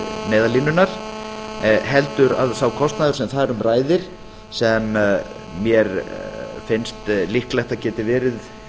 til neyðarlínunnar heldur að sá kostnaður sem þar um ræðir sem mér finnst líklegt að geti verið